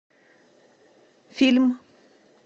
фильм